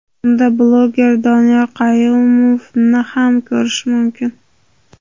Unda bloger Doniyor Qayumovni ham ko‘rish mumkin.